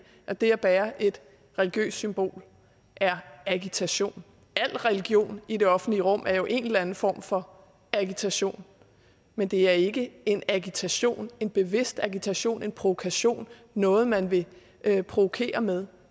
at det at bære et religiøst symbol er agitation al religion i det offentlige rum er jo en eller anden form for agitation men det er ikke en agitation en bevidst agitation en provokation noget man vil provokere med